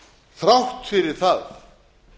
þrátt fyrir það